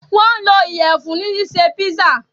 wón lò Iyẹ̀fun ní ṣiṣe pizza.